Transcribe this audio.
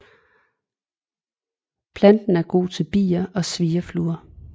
Planten er god til bier og svirrefluer